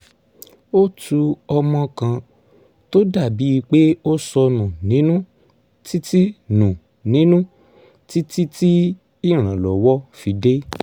ó tu ọmọ kan tó dà bíi pé ó sọ nù nínú títí nù nínú títí tí ìrànlọ́wọ́ fi dé